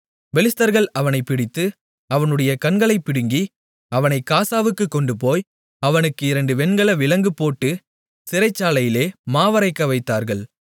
பெலிஸ்தர்கள் அவனைப் பிடித்து அவனுடைய கண்களைப் பிடுங்கி அவனைக் காசாவுக்குக் கொண்டுபோய் அவனுக்கு இரண்டு வெண்கல விலங்குபோட்டுச் சிறைச்சாலையிலே மாவரைக்க வைத்தார்கள்